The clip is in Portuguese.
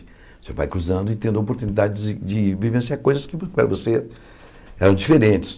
Você vai cruzando e tendo a oportunidade de de vivenciar coisas que para você eram diferentes.